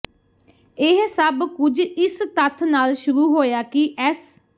ਇਹ ਸਭ ਕੁਝ ਇਸ ਤੱਥ ਨਾਲ ਸ਼ੁਰੂ ਹੋਇਆ ਕਿ ਐੱਸ